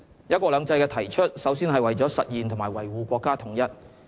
'一國兩制'的提出首先是為了實現和維護國家統一。